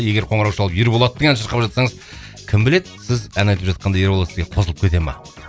егер қоңырау шалып ерболаттың әнін шырқап жатсаңыз кім біледі сіз ән айтып жатқанда ерболат сізге қосылып кете ма